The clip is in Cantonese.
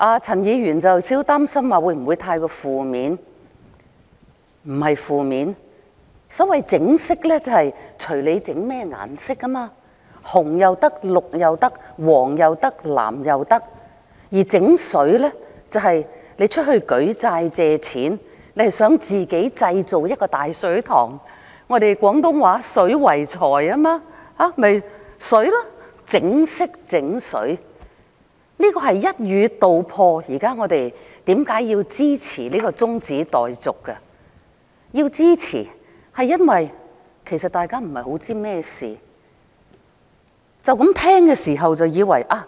陳議員有點擔心會否太過負面，我認為不是負面，所謂"整色"即是隨你選甚麼顏色，可以是紅色、可以是綠色、可以是黃色，也可以是藍色；而"整水"，即是當你對外舉債借錢，你想自己製造一個大水塘，正是廣東話"水為財"的水，說這是"整色整水"，正是一語道破地解釋了現時我們為何要支持這項中止待續議案。